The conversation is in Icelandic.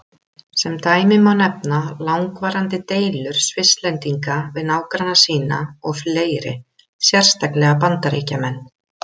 Sem dæmi má nefna langvarandi deilur Svisslendinga við nágranna sína og fleiri, sérstaklega Bandaríkjamenn.